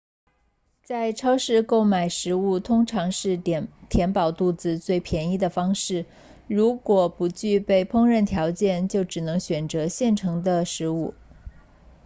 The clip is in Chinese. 在超市购买食物通常是填饱肚子最便宜的方式如果不具备烹饪条件就只能选择现成的食物